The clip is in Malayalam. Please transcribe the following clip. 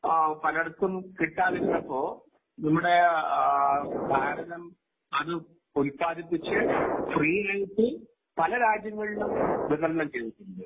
പലയിടത്തും കിട്ടാതിരുന്നപ്പോൾ നമ്മുടെ ഭാരതം അത് ഉൽപാദിപ്പിച്ച്ഫ്രീ യായിട്ട് പല രാജ്യങ്ങളിലും വിതരണം ചെയ്തിട്ടുണ്ട്.